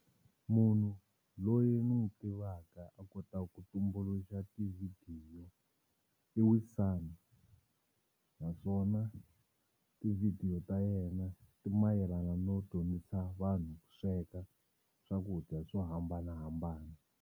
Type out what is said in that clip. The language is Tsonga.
Munhu loyi ni n'wi tivaka a kotaka ku tumbuluxa tivhidiyo i Wisani naswona tivhidiyo ta yena ti mayelana no dyondzisa vanhu ku sweka swakudya swo hambanahambana.